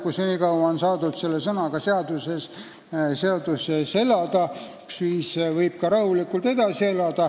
Kui senikaua on selle sõnaga seaduses elada saadud, siis võib sellega ka rahulikult edasi elada.